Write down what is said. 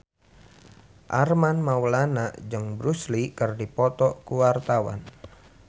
Armand Maulana jeung Bruce Lee keur dipoto ku wartawan